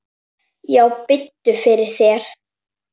Já, biddu fyrir þér.